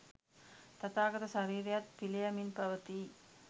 තථාගත ශරීරයත් පිළියමින් පවතියි.